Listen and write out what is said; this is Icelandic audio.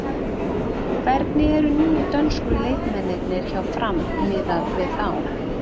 Hvernig eru nýju dönsku leikmennirnir hjá Fram miðað við þá?